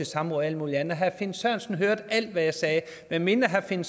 samråd og alt muligt andet og herre finn sørensen hørte alt hvad jeg sagde medmindre herre finn